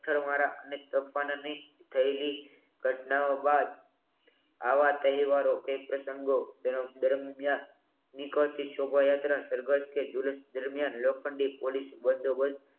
sir મારા અને થયેલી ઘટનાઓ બાદ આવા તહેવારો કે પ્રસંગો દરમિયાન નીકળતી શોભાયાત્રા સર્કસ કે દરમિયાન લોખંડી પોલીસ બંદોબસ્ત